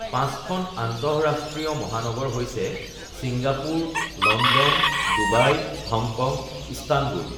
পাঁচখন আন্তঃৰাষ্ট্ৰীয় মহানগৰ হৈছে Singapore London Dubai Hong Kong Istanbul